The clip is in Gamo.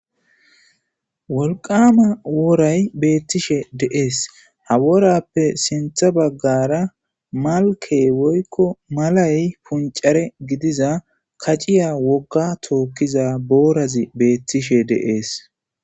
wolqama woray beettishe deees ha Worappe sintha baggara malke woykko malay puncare gidiza kaciya wogga tookkiza boorazi beettishe dees.